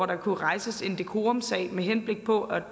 der kunne rejses en decorumsag med henblik på at